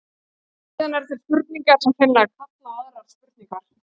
Síðan eru til spurningar sem hreinlega kalla á aðrar spurningar.